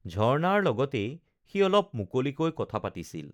ঝৰ্ণাৰ লগতেই সি অলপ মুকলিকৈ কথা পাতিছিল